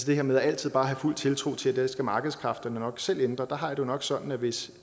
det her med altid bare at have fuld tiltro til at det skal markedskræfterne nok selv ændre der har jeg det nok sådan at hvis